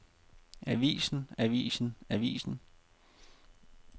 avisen avisen avisen